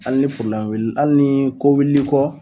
hal ni wil hal nii ko wi l'i kɔ